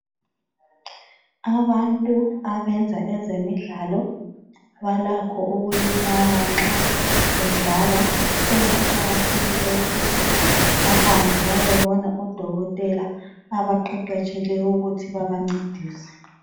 Abantu abayenza ezemidlalo balakho ukulimala nxa bedlala, so kuqakathekile ukubana bahambe beyebona odokotela abqeqetshileyo ukuthi babancedise.